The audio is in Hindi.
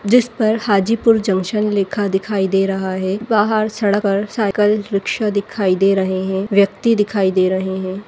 जिस पर हाजीपुर जंक्शन लिखा दिखाई दे रहा है बाहर सड़क साइकिल रिक्शा दिखाई दे रहे है व्यक्ति दिखाई दे रहे हैं।